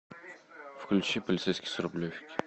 включи полицейский с рублевки